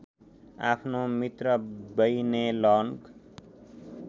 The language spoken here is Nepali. आफ्नो मित्र बैनेलन्ग